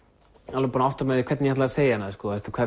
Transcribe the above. alveg búinn að átta mig á því hvernig ég ætlaði að segja hana